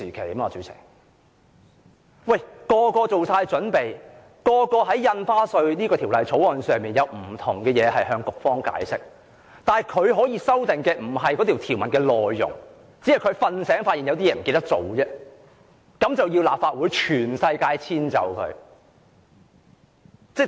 所有議員均已作好準備，打算就《條例草案》的不同範疇向局方解釋，但"林鄭"現時並非對《條例草案》的內容提出修訂，只是"睡醒"後發現有些事情忘了做，於是要求立法會全體議員遷就她。